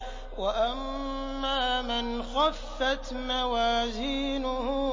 وَأَمَّا مَنْ خَفَّتْ مَوَازِينُهُ